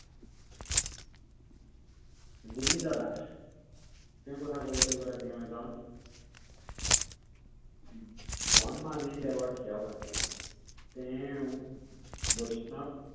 গোৱিন্দ দাস। তেওঁৰ কথা কবলৈ গলে তেওঁ এজন উম বনমালি দেৱৰ সেৱক আছিল। তেওঁ বৈষ্ণৱ